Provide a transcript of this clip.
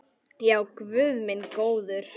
Já, guð minn góður.